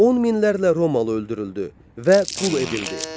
On minlərlə romalı öldürüldü və qul edildi.